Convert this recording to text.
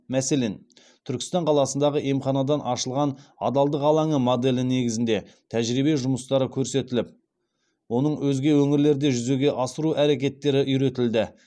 мәселен түркістан қаласындағы емханадан ашылған адалдық алаңы моделі негізінде тәжірибе жұмыстары көрсетіліп оның өзге өңірлерде жүзеге асыру әрекеттері үйретілді